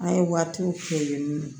An ye waatiw kɛ yennɔ